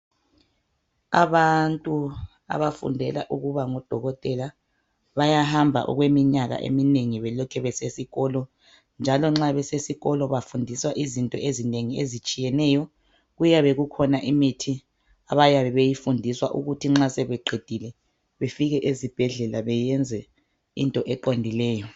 Abantu abafundela ukuba ngodokotela bayahamba okweminyaka eminengi belokhe besesikolo njalo nxa besesikolo bafundiswa izinto ezinengi ezitshiyeneyo kuyabe kukhona imithi abayabe beyifundiswa ukuthi nxa sebeqedile befike ezibhedlela beyenze into eqondileyo.